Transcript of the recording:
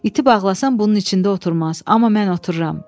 İti bağlasan bunun içində oturmaz, amma mən otururam.